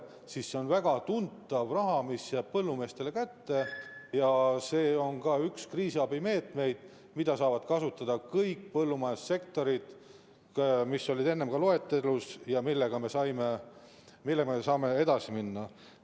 See on väga tuntav raha, mis jääb põllumeestele kätte, ja see on ka üks kriisiabimeetmeid, mida saavad kasutada kõik põllumajandussektorid, mis olid ka enne loetelus ja millega me saame edasi minna.